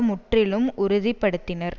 முற்றிலும் உறுதி படுத்தினர்